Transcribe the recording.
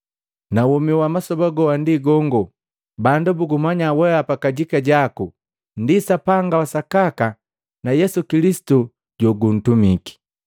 Na womi wa masoba goa ndi gongo, bandu bugumanya weapa kajika jaku ndi Sapanga wa sakaka na Yesu Kilisitu joguntumiki.